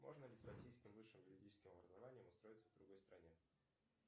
можно ли с российским высшим юридическим образованием устроиться в другой стране